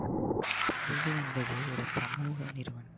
கல்வி என்பது ஒரு சமூக நிறுவனம்